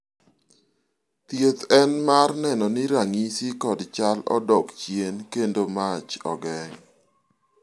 thieth en mar neno ni ranyisi kod chal odok chien kendo mach ogeng'